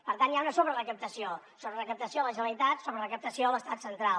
per tant hi ha una sobrerecaptació sobrerecaptació a la generalitat sobrerecaptació a l’estat central